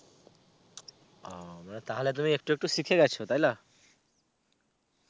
ওহ. তাহলে তুমি একটু একটু শিখে গেছো তাইনা?